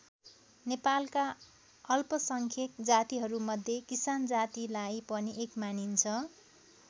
नेपालका अल्पसङ्ख्यक जातिहरूमध्ये किसान जातिलाई पनि एक मानिन्छ।